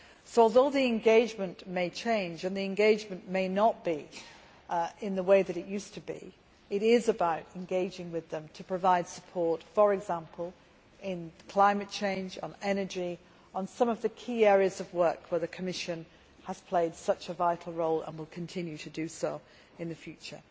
So, although the engagement may change and may not be in the way that it used to be, it is about engaging with them to provide support, for example with climate change, energy and some of the key areas of work where the Commission has played such a vital role and will continue to do in the future.